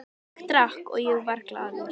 Ég drakk og ég var glaður.